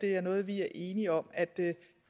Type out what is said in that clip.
er noget vi er enige om at det